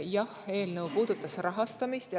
Jah, eelnõu puudutab rahastamist.